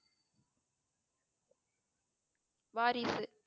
வாரிசு